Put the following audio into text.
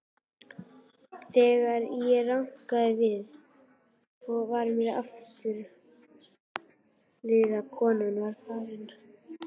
Þegar ég rankaði við mér aftur var konan farin.